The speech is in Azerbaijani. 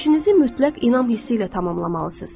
İşinizi mütləq inam hissi ilə tamamlamalısınız.